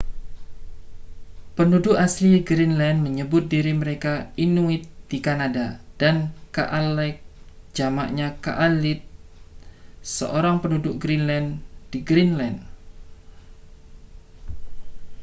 penduduk asli greenland menyebut diri mereka inuit di kanada dan kalaalleq jamaknya kalaallit seorang penduduk greenland di greenland